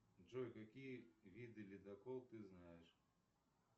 джой какие виды ледоколов ты знаешь